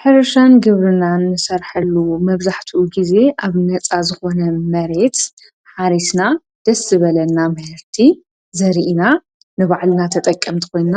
ሕርሻን ግብርናን ንሰርሐሉ መብዛሕቱ ጊዜ ኣብ ነጻ ዝኾነ መሬት ሓሪስና ደስ ዝበለና ምህርቲ ዘሪኢና ንባዕልና ተጠቒምና ኾይንና